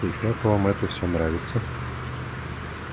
и как вам всё это нравится